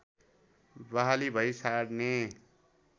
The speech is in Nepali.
बहाली भई छाड्ने